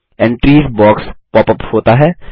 entries box pop up होता है